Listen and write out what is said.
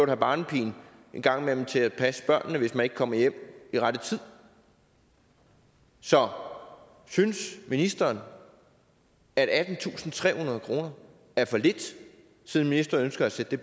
have barnepige en gang imellem til at passe børnene hvis man ikke kommer hjem i rette tid så synes ministeren at attentusinde og trehundrede kroner er for lidt siden ministeren ønsker at sætte